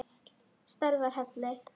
Stærðar hellir?